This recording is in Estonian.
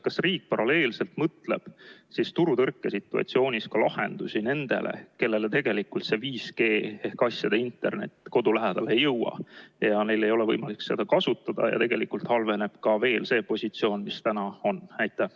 Kas riik paralleelselt mõtleb turutõrkesituatsioonis ka lahendusi nendele, kellele tegelikult see 5G ehk asjade internet kodu lähedale ei jõua ja kellel ei ole võimalik seda kasutada, ja tegelikult halveneb ka veel see positsioon, mis täna on?